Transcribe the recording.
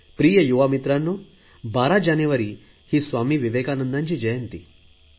प्रिय युवा मित्रांनो 12 जानेवारी स्वामी विवेकानंदांची जयंती आहे